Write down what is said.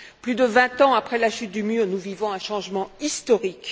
Plus de vingt ans après la chute du mur, nous vivons un changement historique.